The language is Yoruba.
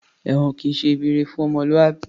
Èwọ̀n kìí ṣe ibi ire fún ọmọlúwàbí